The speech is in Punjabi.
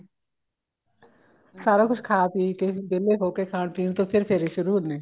ਸਾਰਾ ਕੁੱਛ ਖਾ ਪੀ ਕੇ ਵਿਹਲੇ ਹੋ ਕੇ ਖਾਣ ਪੀਣ ਤੋਂ ਬਾਅਦ ਫ਼ੇਰ ਫੇਰੇ ਸ਼ੁਰੂ ਹੁੰਦੇ ਆਂ